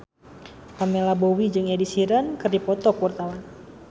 Pamela Bowie jeung Ed Sheeran keur dipoto ku wartawan